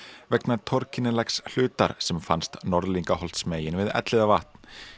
vegna hlutar sem fannst við Elliðavatn